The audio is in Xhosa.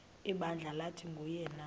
ibandla lathi nguyena